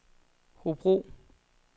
Hobro